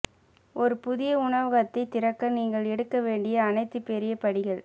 ஒரு புதிய உணவகத்தை திறக்க நீங்கள் எடுக்க வேண்டிய அனைத்து பெரிய படிகள்